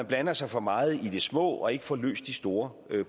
blander sig for meget i de små ting og ikke får løst de store